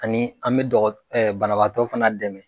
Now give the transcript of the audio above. Ani an bɛ dɔgɔ banabaatɔ fana dɛmɛ.